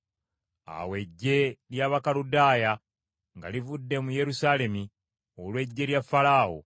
Awo eggye ly’Abakaludaaya nga livudde mu Yerusaalemi olw’eggye lya Falaawo,